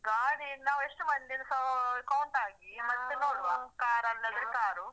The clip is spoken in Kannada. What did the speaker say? ಗಾಡಿ ನಾವು ಎಷ್ಟು ಮಂದಿ ಅಂತ ಸಾ count ಆಗಿ ಮತ್ತೆ ನೋಡುವ ಕಾರ್ ಅಲ್ಲಿ ಆದ್ರೆ ಕಾರು.